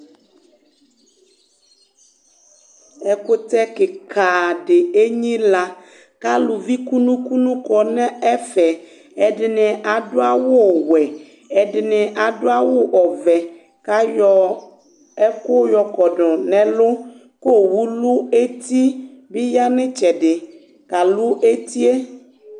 ɛkʋtɛ kikaa di ɛnyila kʋ alʋvi kʋnʋ kʋnʋ kɔnʋ ɛƒɛ, ɛdini adʋ awʋ wɛ ,ɛdini adʋ awʋ ɔvɛ kʋ ayɔ ɛkʋ yɔkɔdʋ nʋ ɛlʋ kʋ ɔwʋ lʋ ɛti bi yanʋ itsɛdi kalʋ ɛtiɛ